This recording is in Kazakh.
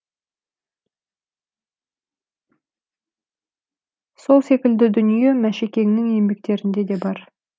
сол секілді дүние мәшекеңнің еңбектерінде де бар